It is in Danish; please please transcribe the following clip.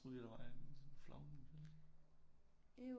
Jeg troede lige at der var en sådan flagermus